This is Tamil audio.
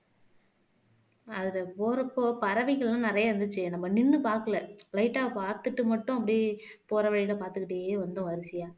அதுல போறப்போ பறவைகளும் நிறைய இருந்துச்சு நம்ம நின்னு பார்க்கல light ஆ பார்த்துட்டு மட்டும் அப்படியே போற வழியில பார்த்துக்கிட்டே வந்தோம் வரிசையா